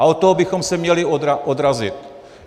A od toho bychom se měli odrazit.